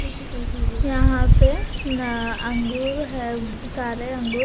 यहां पे अं अंगूर है काले अंगूर--